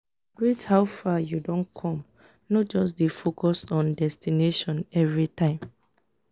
celibrate how far yu don com no just dey focus on destination evritime